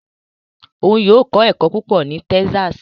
Òun yóò kọ ẹkọ púpọ ní Texas